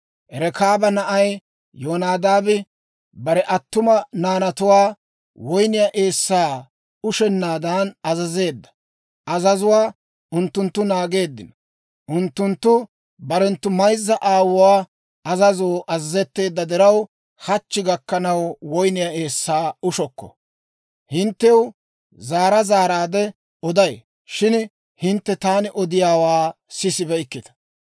Rekaaba na'ay Yonadaabi bare attuma naanatuwaa woyniyaa eessaa ushennaadan azazeedda azazuwaa unttunttu naageeddino; unttunttu barenttu mayzza aawuwaa azazoo azazetteedda diraw, hachchi gakkanaw woyniyaa eessaa ushokko. Hinttew zaara zaaraadde oday; shin hintte taani odiyaawaa sisibeykkita.